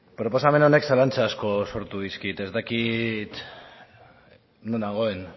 proposamen honek zalantza asko sortu dizkit ez dakit non nagoen